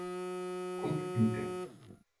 Kot mite.